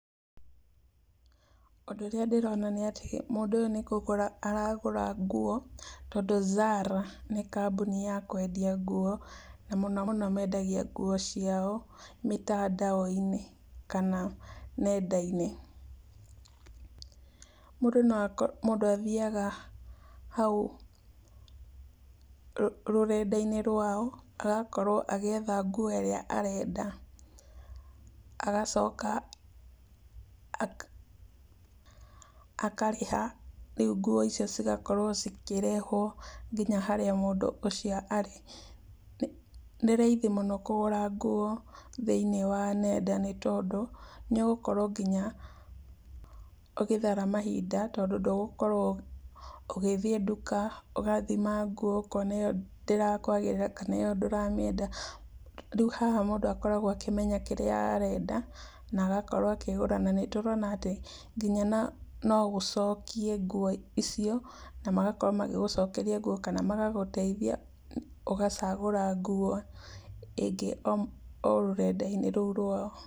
Ũndũ ũrĩa ndĩrona nĩ atĩ, mũndũ ũyũ nĩ kũgũra aragũra ngũo. Tondũ Zara nĩ kambũni ya kwendia ngũo na mũno mũno mendagia ngũo ciao mĩtandao-inĩ kana nenda-inĩ. Mũndũ no ako mũndũ athiaga haũ rũ rũrenda-inĩ rwao, agakorwo agĩetha ngũo ĩrĩa arenda, agacoka aka akarĩha, rĩũ ngũo icio cigakorwo ikĩrehwo nginya harĩa mũndũ ũcio arĩ. Nĩ nĩ raithi mũno kũgũra ngũo thĩiniĩ wa nenda nĩ tondũ, nĩũgũkorwo nginya ũgĩthara mahinda tondũ ndũgũkorũo ũgĩthi ndũka ũgũthima ngũo ũkona ĩyo ndĩrakũagĩrĩra kana ĩyo ndũramĩenda. Rĩũ haha mũndũ akoragwo akĩmenya kĩrĩa arenda na agakorwo akĩgũra. Na nĩtũrona atĩ, nginya no nogũcokie ngũo icio, na magakorwo magĩgũcokeria ngũo kana magagũteithia ũgacagũra ngũo ĩngĩ o rũrenda-inĩ rũu rwao.